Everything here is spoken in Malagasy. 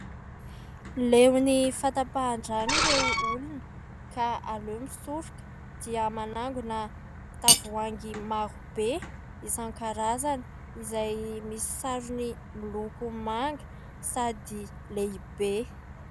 Leo ny fahatapahan-drano ireo olona ka alehony misoroka dia manangona tavoahangy marobe isan-karazana izay misy sarony miloko manga sady lehibe.